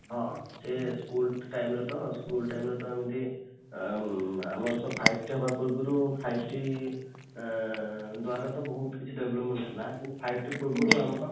ହଁ, ସେ school time ରେ ତ school time ରେ ତ ଏମିତି ଉଁ ଆମର ଯୋଉ five t ହେବା ପୂର୍ବରୁ five t ଆଁ ଦ୍ୱାରା ତ ବହୁତ କିଛି development ହେଲା କିନ୍ତୁ five t ପୂର୍ବରୁ ଆମର